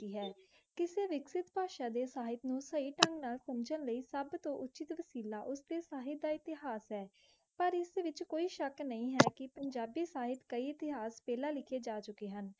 ਕਰਿਪਤਾ ਸ਼ਾਹਿਦ ਸਾਹਿਬ ਨੂ ਸੁਬ ਤੋ ਉਚੀ ਤੋ ਵਸੀਲਾ ਉਸ ਕੀ ਸਾਹਿਬਾ ਇਤ੍ਯਾਸ ਹੈ ਪਰ ਇਸ ਤੋ ਨੀਚੀ ਕੋਈ ਸ਼ਕ ਨਾਈ ਹੈ ਕ ਪੰਜਾਬੀ ਸਾਹਿਬ ਕੀ ਇਤ੍ਯ੍ਹਾਸ ਪਹਲਾ ਲਿਖੀ ਜਾ ਚੁਕੀ ਹੁਣ